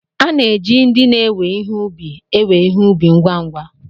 A na-eji ndị na-ewe ihe ubi ewe ihe ubi ngwa ngwa.